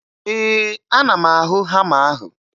Ee, ana m ahụ hama ahụ